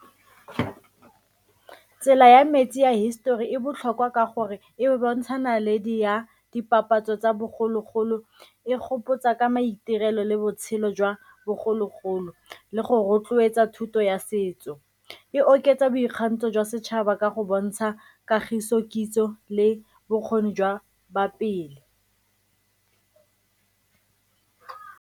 Tsela ya metsi ya histori e botlhokwa ka gore e bontsha naledi ya dipapatso tsa bogologolo, e gopotsa ka maitirelo le botshelo jwa bogologolo le go rotloetsa thuto ya setso. E oketsa boikgantsho jwa setšhaba ka go bontsha kagiso, kitso le bokgoni jwa ba pele.